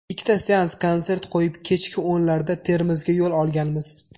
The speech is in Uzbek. Ikkita seans konsert qo‘yib, kechki o‘nlarda Termizga yo‘l olganmiz.